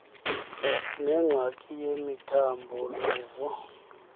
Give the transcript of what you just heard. nengxaki yemithambo luvo